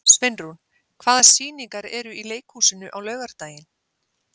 Sveinrún, hvaða sýningar eru í leikhúsinu á laugardaginn?